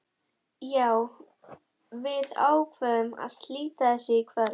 Já, við ákváðum að slíta þessu í kvöld.